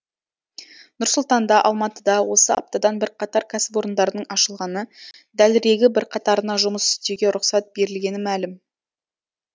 нұр сұлтанда алматыда осы аптадан бірқатар кәсіпорындардың ашылғаны дәлірегі бірқатарына жұмыс істеуге рұқсат берілгені мәлім